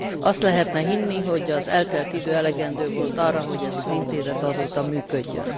Azt lehetne hinni, hogy az eltelt idő elegendő volt arra, hogy ez az Intézet azóta működjön.